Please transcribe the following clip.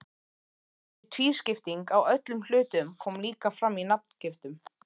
Þessi tvískipting á öllum hlutum kom líka fram í nafngiftum.